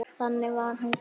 Þannig var hann gerður.